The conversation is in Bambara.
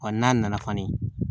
Wa n'a nana fani